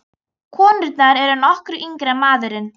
Konurnar eru nokkru yngri en maðurinn.